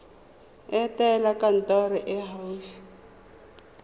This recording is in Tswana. etela kantoro e e gaufi